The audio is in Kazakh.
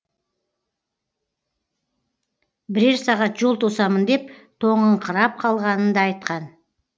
бірер сағат жол тосамын деп тоңыңқырап қалғанын да айтқан